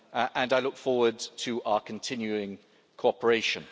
and I look forward to our continuing cooperation.